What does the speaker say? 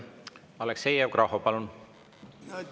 Aleksei Jevgrafov, palun!